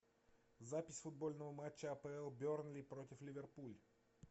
запись футбольного матча апл бернли против ливерпуль